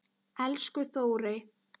Elsku Þórey.